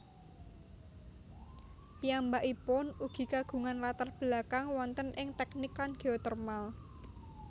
Piyambakipun ugi kagungan latar belakang wonten ing tèknik lan geotermal